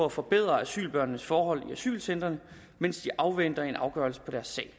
at forbedre asylbørns forhold i asylcentrene mens de afventer en afgørelse på deres sag